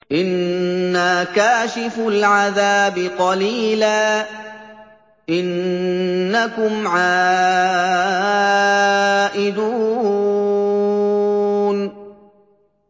إِنَّا كَاشِفُو الْعَذَابِ قَلِيلًا ۚ إِنَّكُمْ عَائِدُونَ